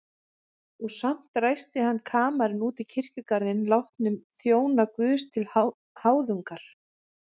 Og samt ræsti hann kamarinn út í kirkjugarðinn látnum þjónum Guðs til háðungar.